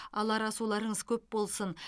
алар асуларыңыз көп болсын